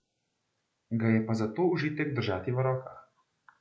Ga je pa zato užitek držati v rokah.